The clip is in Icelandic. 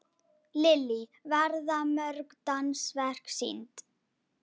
Lillý, verða mörg dansverk sýnd?